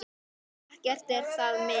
Ekki er það mikið!